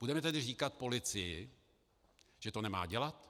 Budeme tedy říkat polici, že to nemá dělat?